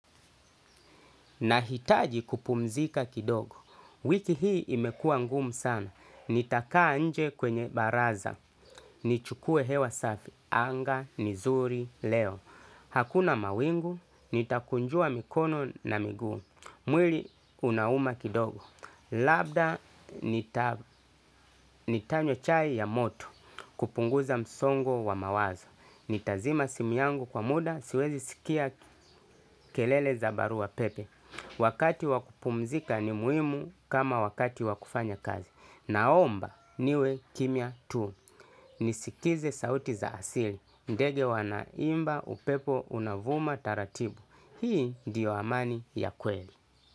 Nahitaji kupumzika kidogo, wiki hii imekua ngumu sana, nitakaa nje kwenye baraza, nichukue hewa safi, anga, ni zuri leo, hakuna mawingu, nitakunjua mikono na migu, mwili unauma kidogo, labda nita nitanywa chai ya moto, kupunguza msongo wa mawazo, nitazima simu yangu kwa muda, siwezi sikia kelele za baru wa pepe. Wakati wa kupumzika ni muhimu kama wakati wa kufanya kazi. Naomba niwe kimia tu. Nisikize sauti za asili. Ndege wanaimba, upepo unavuma taratibu. Hii ndio amani ya kweli.